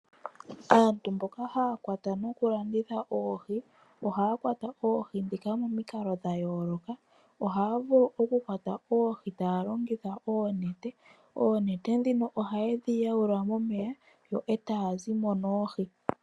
Aantu mboka haya kwata nokulanditha oohi ohaya kwata oohi momikalo dha yooloka ngaashi elongitho lyoonete ndhoka haye dhi yawula momeya etaya zi mo noohi.